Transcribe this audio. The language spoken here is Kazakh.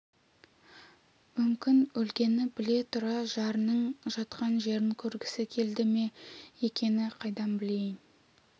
мүмкін өлгенін біле тұра жарының жатқан жерін көргісі келді ме екен қайдан білейін